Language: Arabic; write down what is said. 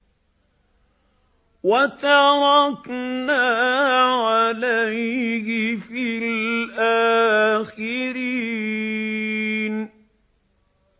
وَتَرَكْنَا عَلَيْهِ فِي الْآخِرِينَ